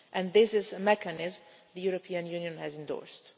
This is a mechanism the European Union has endorsed.